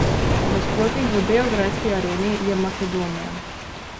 Nasprotnik v beograjski Areni je Makedonija.